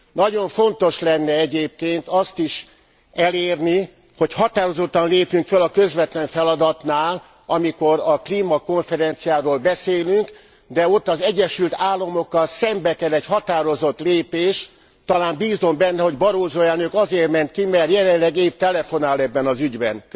Nagyon fontos lenne egyébként azt is elérni, hogy határozottan lépjünk föl a közvetlen feladatnál, amikor a klímakonferenciáról beszélünk, de ott az Egyesült Államokkal szembe kell egy határozott lépés, talán bízom benne, hogy Barroso elnök azért ment ki, mert jelenleg épp telefonál ebben az ügyben.